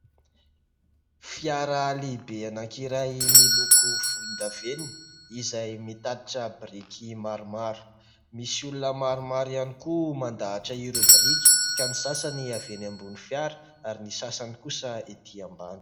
Fiara lehibe anankiray miloko volondavenona ; izay mitatitra biriky maromaro ; misy olona maromaro ihany koa mandahatra ireo biriky ka ny sasany avy eny ambony fiara ary ny sasany kosa ety ambany.